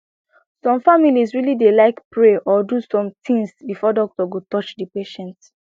some families really dey like pray or do some things before doctor go touch the patient